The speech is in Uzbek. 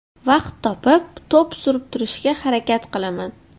Vaqt topib, to‘p surib turishga harakat qilaman.